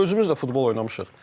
Özümüz də futbol oynamışıq.